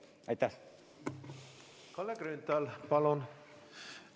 Kalle Grünthal, palun!